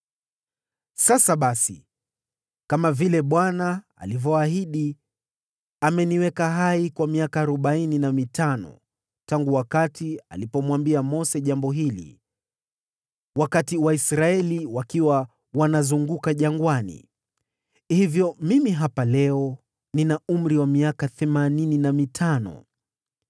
“Sasa basi, kama vile Bwana alivyoahidi, ameniweka hai kwa miaka arobaini na mitano tangu wakati alipomwambia Mose jambo hili, wakati Waisraeli wakiwa wanazunguka jangwani. Hivyo mimi hapa leo, nina umri wa miaka themanini na mitano!